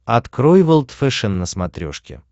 открой волд фэшен на смотрешке